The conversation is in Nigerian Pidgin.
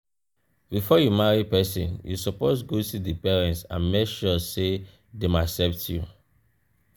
before you marry persin you suppose go see di parents and make sure say dem accept you